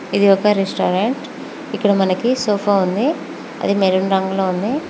ఇది ఒక రెస్టారెంట్ ఇక్కడ మనకి సోఫా ఉంది అది మెరున్ రంగులో ఉంది.